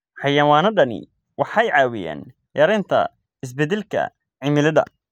Xayawaanadani waxay caawiyaan yaraynta isbedelka cimilada.